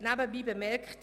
Nebenbei bemerkt: